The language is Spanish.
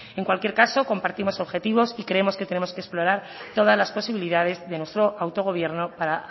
en cualquier caso compartimos objetivos y creemos que tenemos que explorar todas las posibilidades de nuestro autogobierno para